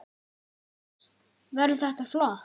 Hödd: Verður þetta flott?